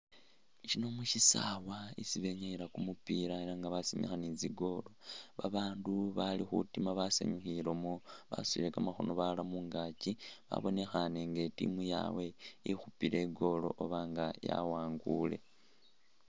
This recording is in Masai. Shino mushisawa isi benyayila kumupiila ela nga basimikha ni tsi goal babaandu bali khutiima basanyukhilemo basutile kamakhono balala mungakyi babonekhane inga team yabwe ikhupile igoal oba nga yawangule.